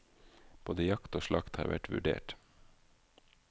Både jakt og slakt har vært vurdert.